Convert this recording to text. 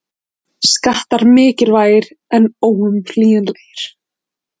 Skattar mikilvægir og óumflýjanlegir